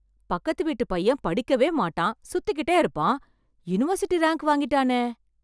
பக்கத்து வீட்டு பையன் படிக்கவே மாட்டான் சுத்திகிட்டே இருப்பான் யூனிவர்சிட்டி ரேங்க் வாங்கிட்டானே!